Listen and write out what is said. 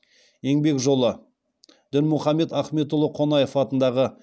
еңбек жолы дінмұхамед ахметұлы қонаев атындағы